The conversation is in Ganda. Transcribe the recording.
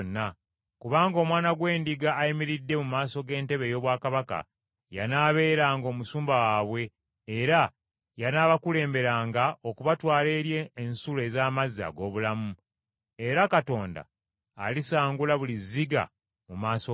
kubanga Omwana gw’Endiga ayimiridde mu maaso g’entebe ey’obwakabaka, y’anaabeeranga omusumba waabwe era y’anaabakulemberanga okubatwala eri ensulo ez’amazzi ag’obulamu. Era Katonda alisangula buli zziga mu maaso gaabwe.”